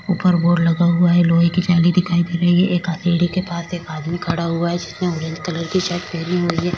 उपर बोर्ड लगा हुआ है लोहे की जाली दिखाई दे रही है एक हाथेडी के पास एक आदमी खड़ा हुआ है जिसने ऑरेंज कलर की शर्ट पहनी हुई है।